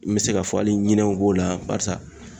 N bɛ se ka fɔ hali ɲinɛw b'o la barisa